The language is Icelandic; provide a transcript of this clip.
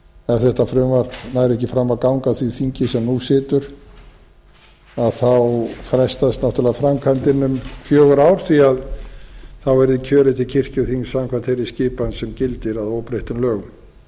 ef þetta frumvarp nær ekki fram að ganga á því þingi sem nú situr þá frestast náttúrulega framkvæmdin um fjögur ár því þá yrði kjörið til kirkjuþings samkvæmt þeirri skipan sem gildir að óbreyttum lögum en